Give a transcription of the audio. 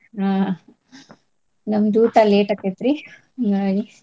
ಹಾ ನಮ್ದ ಊಟಾ late ಆಕ್ಕೇತ್ರಿ .